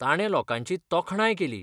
ताणें लोकांची तोखणाय केली.